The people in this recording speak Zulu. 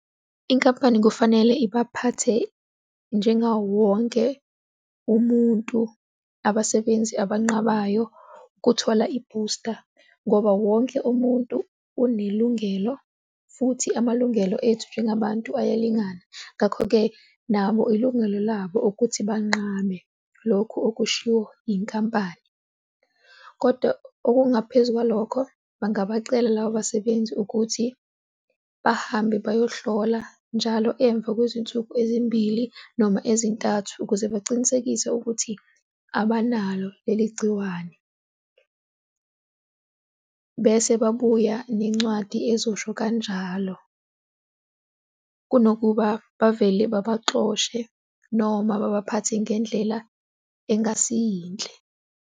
Inkampani kufanele ibaphathe njengawo wonke umuntu abasebenzi abantu abanqabayo ukuthola ibhusta ngoba wonke umuntu unelungelo futhi amalungelo ethu njengabantu ayalingana. Ngakho-ke nabo ilungelo labo ukuthi banqabe lokhu okushiwo inkampani, kodwa okungaphezu kwalokho bangabacela labo basebenzi ukuthi bahambe bayohlola njalo emva kwezinsuku ezimbili noma ezintathu ukuze bacinisekise ukuthi abanalo leli gciwane. Bese babuya nencwadi ezosho kanjalo, kunokuba bavele babaxhoshe noma babaphathe ngendlela engasiyinhle.